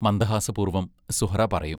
മന്ദഹാസപൂർവം സുഹ്റാ പറയും.